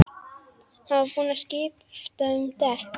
Hann var búinn að skipta um dekk.